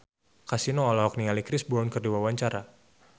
Kasino olohok ningali Chris Brown keur diwawancara